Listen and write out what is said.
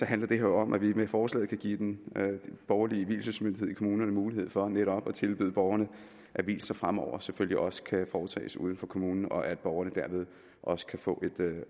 handler om at vi med forslaget kan give den borgerlige vielsesmyndighed i kommunerne mulighed for netop at tilbyde borgerne at vielser fremover selvfølgelig også kan foretages uden for kommunen og at borgerne derved også kan få et